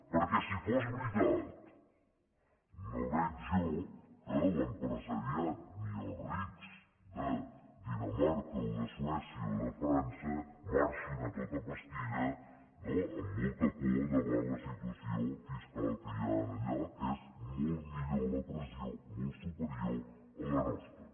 perquè si fos veritat no veig jo que l’empresariat ni els rics de dinamarca o de suècia o de frança marxin a tota pastilla no amb molta por davant la situació fiscal que hi ha allà que és molt superior la pressió a la nostra